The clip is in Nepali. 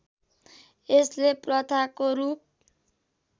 यसले प्रथाको रूप